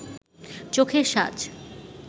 চোখের সাজ